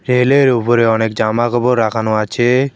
উপরে অনেক জামাকাপড় রাখানো আছে।